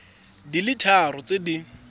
di le tharo tse di